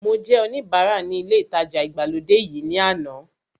Mo jẹ́ oníbara ní ilé ìtajà ìgbàlódé yìí ní àná